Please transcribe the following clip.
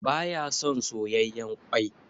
Ba ya son soyayyan kwai.